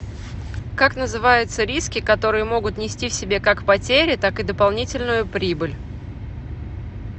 как называется риски которые могут нести в себе как потери так и дополнительную прибыль